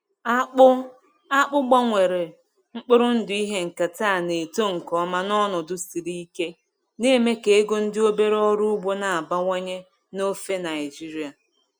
Akpụ Akpụ gbanwere mkpụrụ ndụ ihe nketa na-eto nke ọma n’ọnọdụ siri ike, na-eme ka ego ndị obere ọrụ ugbo na-abawanye n’ofe Naijiria.